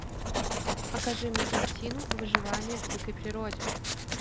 покажи мне картину выживания в дикой природе